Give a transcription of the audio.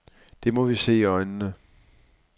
Det må vi se i øjnene.